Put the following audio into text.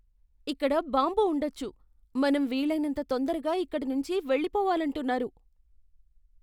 ఇక్కడ బాంబు ఉండొచ్చు, మనం వీలైనంత తొందరగా ఇక్కడి నుంచీ వెళ్లిపోవాలంటున్నారు.